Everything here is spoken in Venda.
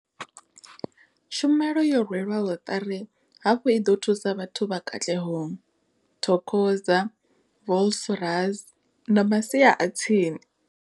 Tshumelo yo rwelwaho ṱari hafhu i ḓo thusa vhathu vha Katlehong, Thokoza, Vosloorus na masia a tsini.